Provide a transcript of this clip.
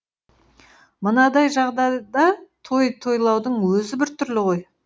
мынадай жағдайда той тойлаудың өзі біртүрлі ғой